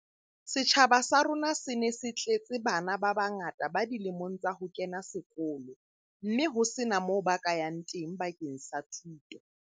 Setjhaba sa rona se ne se tletse bana ba bangata ba dilemong tsa ho kena sekolo mme ho sena moo ba ka yang teng bakeng sa thuto.